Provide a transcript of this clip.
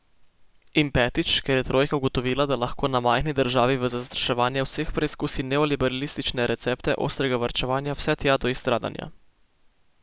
In petič, ker je trojka ugotovila, da lahko na majhni državi v zastraševanje vseh preskusi neoliberalistične recepte ostrega varčevanja vse tja do izstradanja.